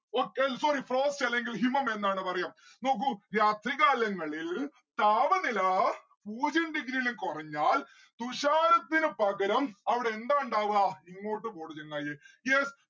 okay അല് sorry അല്ലെങ്കിൽ ഹിമമെന്നാണ് പറയാ. നോക്കൂ രാത്രി കാലങ്ങളിൽ താപനില പൂജ്യം degree ലും കൊറഞ്ഞാൽ തുഷാരത്തിന് പകരം അവിടെ എന്താ ഇണ്ടാവാ? ഇങ്ങോട്ട് പൊട് ചെങ്ങായി yes